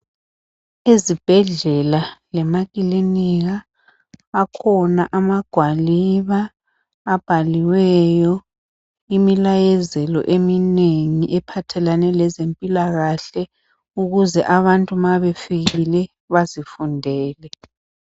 Ezibhendlela lemakilinika akhona amagwaliba abhaliweyo imilayezelo eminengi ephathelane lezempilakahle ukuze abantu ma befikile bazifundele.